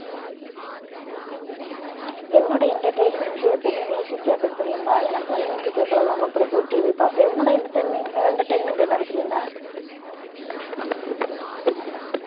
என்னுடைய entertainment வந்து எப்பவுமே கேப்பேன் பிரியங்கா எனக்கு வந்து கேக்கறது ரொம்ப பிடிக்கும் TV பாப்பேன் உன்னோட entertainment அஹ் entertainment என்னது பிரியங்கா